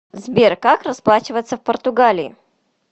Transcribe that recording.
сбер как расплачиваться в португалии